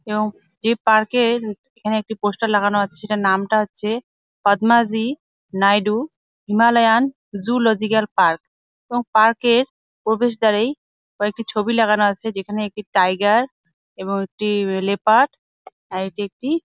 এবং যে পার্ক -এ এখানে একটি পোস্টার লাগানো আছে সেটার নামটা হচ্ছে Padmaja Naidu Himalayan zoological park এবং পার্ক -এর প্রবেশ দ্বারেই কয়েকটি ছবি লাগানো আছে। যেখানে একটি টাইগার এবং একটি উম লেপার্ড আর এটি একটি--